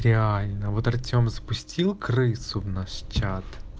реально вот артем запустил крысу в наш чат